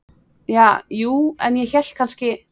Ja, jú, en ég hélt kannski.